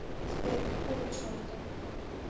сбер какого черта